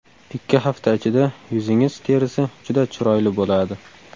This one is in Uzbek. Ikki hafta ichida yuzingiz terisi juda chiroyli bo‘ladi.